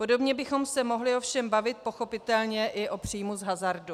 Podobně bychom se mohli ovšem bavit pochopitelně i o příjmu z hazardu.